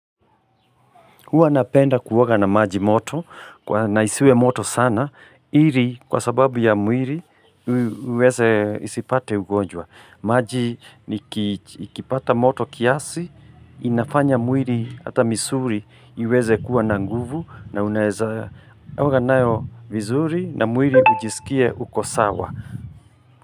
Huwa napenda kuoga na maji moto, na isiwe moto sana, ili, kwa sababu ya mwili uweze, isipate ugonjwa. Maji ikipata moto kiasi, inafanya mwili hata misuli iweze kuwa na nguvu na unaeza. Oga nayo vizuri na mwili ujisikie uko sawa.